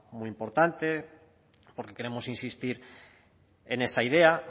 muy importante porque queremos insistir en esa idea